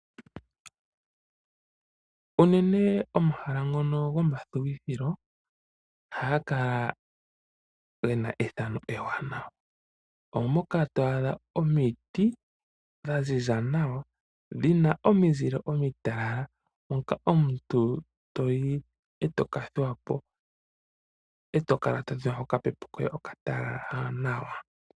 Unene omahala ngono gomathuwithilo ohaga kala ge na efano ewanawa. Omo moka to adha omiti dha ziza nawa, dhi na omizile omitalala moka omuntu to yi e to ka thuwa po, e to kala to dhengwa kokapepo koye okatalala nawa.